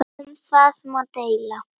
Um það má deila.